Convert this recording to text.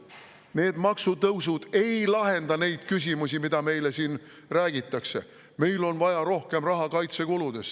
Need maksutõusud ei lahenda neid küsimusi, mida meile siin räägitakse: "Meil on vaja rohkem raha kaitsekuludeks.